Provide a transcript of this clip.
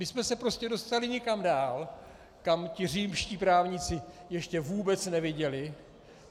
My jsme se prostě dostali někam dál, kam ti římští právníci ještě vůbec neviděli.